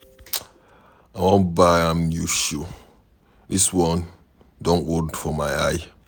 I wan buy am new shoe, dis one don old for my eye